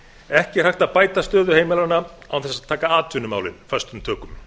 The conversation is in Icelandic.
ekki er hægt að bæta stöðu heimilanna án þess að taka atvinnumálin föstum tökum